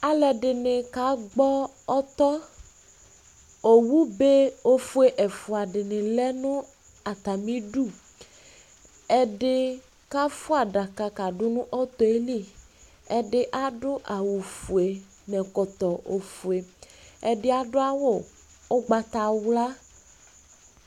Alʋ ɛdini kagbɔ tɔ Owube ofue ɛfua dini lɛ nʋ atamidu Ɛdi kafua 'daka kadʋ nʋ ɔtɔ yɛli Ɛdi adʋ awʋ fue n'ɛkɔtɔ ofue Ɛdi adʋ awʋ ʋgbatawla